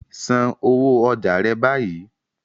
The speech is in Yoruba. San owó ọjà rẹ báyìí.